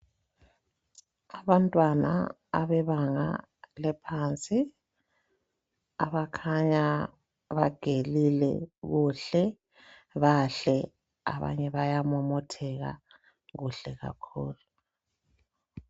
Abantwana abebanga laphansi abakhanya bagelile kuhle bahle abanye bayamomotheka kuhle kakhulu.